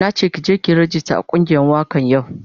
Na ke ki je ki yi ragista a kungiyar wakan yau.